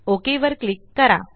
okay वर click करा